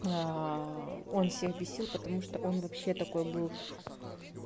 он всех бесил потому что он вообще такой был